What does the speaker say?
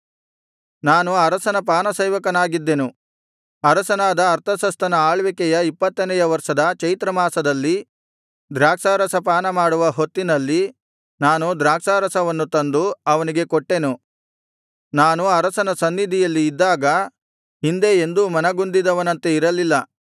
ನಾನು ಅರಸನ ಪಾನಸೇವಕನಾಗಿದ್ದನು ಅರಸನಾದ ಅರ್ತಷಸ್ತನ ಆಳ್ವಿಕೆಯ ಇಪ್ಪತ್ತನೆಯ ವರ್ಷದ ಚೈತ್ರಮಾಸದಲ್ಲಿ ದ್ರಾಕ್ಷಾರಸ ಪಾನಮಾಡುವ ಹೊತ್ತಿನಲ್ಲಿ ನಾನು ದ್ರಾಕ್ಷಾರಸವನ್ನು ತಂದು ಅವನಿಗೆ ಕೊಟ್ಟೆನು ನಾನು ಅರಸನ ಸನ್ನಿಧಿಯಲ್ಲಿ ಇದ್ದಾಗ ಹಿಂದೆ ಎಂದೂ ಮನಗುಂದಿದವನಂತೆ ಇರಲಿಲ್ಲ